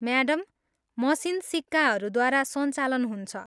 Madam, machine सिक्काहरूद्वारा सञ्चालन हुन्छ।